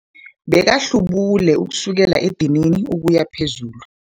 Bekahlubule kusukela edinini ukuya phezulu.